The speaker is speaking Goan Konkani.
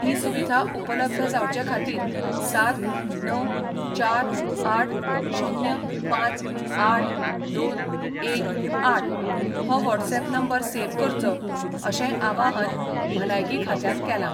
ही सुविधा उपलब्ध जावचे खातीर सात णव चार आठ शुन्य पांच आठ दोन एक आठ हो व्हॉट्सएप नंबर सेव्ह करचो अशेंय आवाहन भलायकी खात्यान केला.